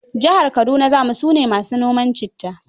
Jihar Kaduna za mu, su ne ma su noma citta.